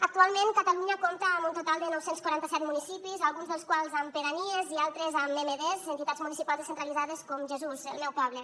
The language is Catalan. actualment catalunya compta amb un total de nou cents i quaranta set municipis alguns dels quals amb pedanies i altres amb emd entitats municipals descentralitzades com jesús el meu poble